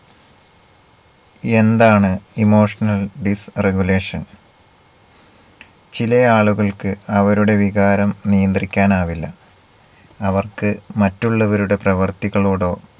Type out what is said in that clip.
എന്താണ് emotional disregulation ചിലയാളുകൾക്ക് അവരുടെ വികാരം നിയന്ദ്രിക്കാൻ ആവില്ല. അവർക്ക് മറ്റുള്ളവരുടെ പ്രവർത്തികളോടോ